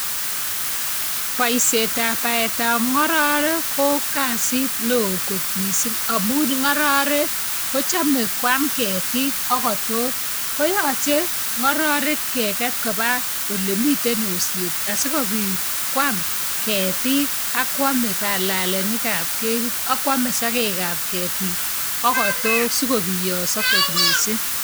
Boishetab baetab ng'ororek ko kasit neoo kot mising amun ng'ororek kochome kwaam ketik ak kotok ko yoche ngororek keket kobaa olemiten osnet asikobit kwaam ketik ak kwome balalenikab ketit ak kwomee sokekab ketik ak kotok sikobiyoso kot mising.